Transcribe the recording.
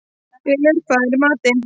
Ylur, hvað er í matinn?